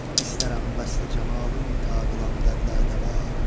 İstərəm vəsli camalın ta qılan dərdə dəva.